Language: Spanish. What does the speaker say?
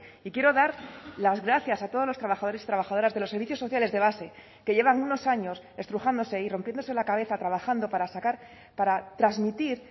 y quiero dar las gracias a todos los trabajadores y trabajadoras de los servicios sociales de base que llevan unos años estrujándose y rompiéndose la cabeza trabajando para sacar para transmitir